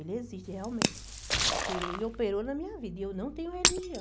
Ele existe realmente, porque Ele operou na minha vida e eu não tenho religião.